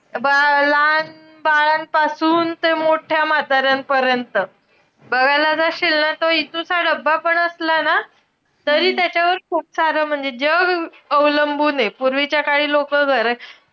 बाळा~ लहान बाळांपासून ते मोठ्या म्हाताऱ्यांपर्यंत. बघायला जाशील ना, तो इतुसा डब्बा पण असला ना तरी त्याच्यावर खूप सारं, म्हणजे जग अवलंबूने. पूर्वीच्या काळी लोकं घरा,